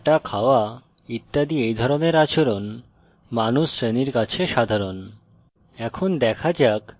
দেখা হাঁটা খাওয়া ইত্যাদি এই ধরনের আচরণ মানুষ শ্রেণীর কাছে সাধারণ